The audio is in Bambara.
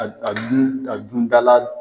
A a dun dundala